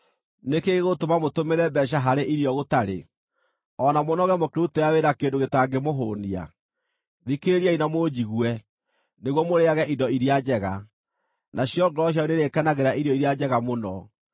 Nĩ kĩĩ gĩgũtũma mũtũmĩre mbeeca harĩ irio gũtarĩ, o na mũnoge mũkĩrutĩra wĩra kĩndũ gĩtangĩmũhũũnia? Thikĩrĩriai na mũnjigue, nĩguo mũrĩĩage indo iria njega, nacio ngoro cianyu nĩirĩkenagĩra irio iria njega mũno.